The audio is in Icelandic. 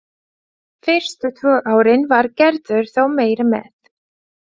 Fyrstu tvö árin var Gerður þó meira með.